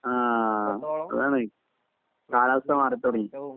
ആഹ് അതാണ് കാലാവസ്ഥ മാറിത്തുടങ്ങി